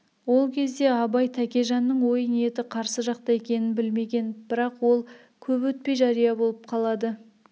ол кезде абай тәкежанның ой ниеті қарсы жақта екенін білмеген бірақ ол көп әтпей жария болып қалады